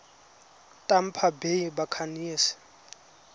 tampa bay buccaneers